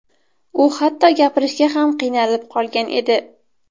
U hatto gapirishga ham qiynalib qolgan edi.